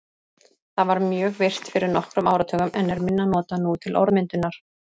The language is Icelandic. Það var mjög virkt fyrir nokkrum áratugum en er minna notað nú til orðmyndunar.